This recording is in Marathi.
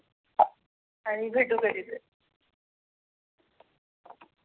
आणि भेटु कधी तरि.